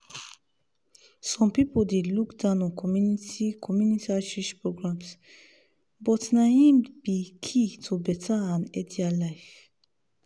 some people dey look down on community community outreach programs but na im be key to better and healthier life.